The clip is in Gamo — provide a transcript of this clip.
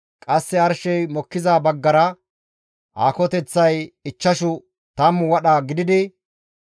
Qasse arshey mokkiza baggara aakoteththay ichchashu tammu wadha gididi,